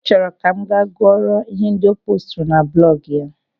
Ọ chọrọ Ka m ga-gụọrọ ihe ndị o poosturu na blọgụ ya.